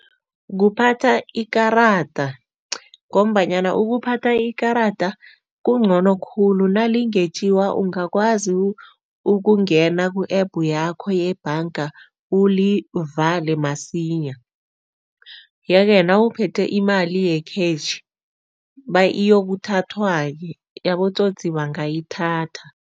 Kuphatha ikarada ngombanyana ukuphatha ikarada kungcono khulu nalingetjiwa ungakwazi ukungena ku-App yakho yebhanga ulivale masinya yeke nawuphethe imali ye-cash, iyokuthathwa-ke, abotsotsi bangayithatha.